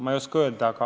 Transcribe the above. Ma ei oska öelda.